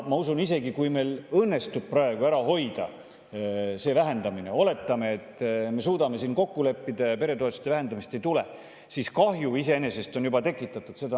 Ma usun, et isegi kui meil õnnestub praegu see vähendamine ära hoida – oletame, et me suudame siin kokku leppida ja peretoetuste vähendamist ei tule –, siis kahju on iseenesest juba tekitatud.